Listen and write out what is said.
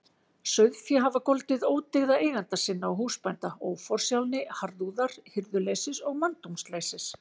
Sauðféð hafa goldið ódyggða eigenda sinna og húsbænda: óforsjálni, harðúðar, hirðuleysis og manndómsleysis.